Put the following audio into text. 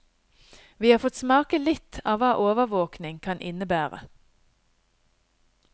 Vi har fått smake litt av hva overvåkning kan innebære.